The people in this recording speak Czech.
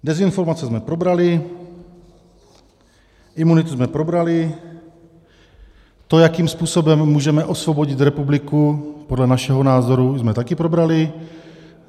Dezinformace jsme probrali, imunitu jsme probrali, to, jakým způsobem můžeme osvobodit republiku podle našeho názoru, jsme taky probrali.